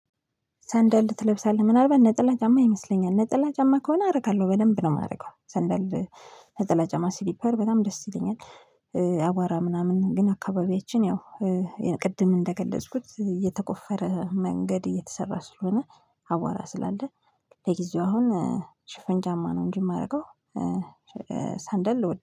ሰንደል ትለብሳለህ ምናልባት ነጠላ ጫማ ይመስለኛል ነጠላ ጫማ ከሆነ አደርጋለሁ በደንብ ነው የማደርገው ሰንደል ነጠላ ስሪፐር በጣም ደስ ይለኛል። አቧራ ምናምን ግን አካባቢያችን ያው ቅድም እንደገለጽኩት የተቆፈረ መንገድ እየተሰራ ስለሆነ አቧራ ስላለ ለጊዜው አሁን ሽፍን ጨመማ ነው እንጂ የማደርገው። ሳንደል ልወድ